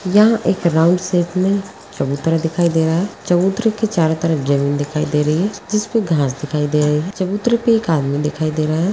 यहाँ एक round shape में चबुतरा दिखाई दे रहा है चबूतरे के चारो तरफ जमीन दिखाई दे रही है जिसपे घास दिखाई दे रही है। चबुतरे पे एक आदमी दिखाई दे रहा है।